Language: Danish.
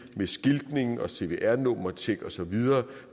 med skiltning og cvr nummertjek og så videre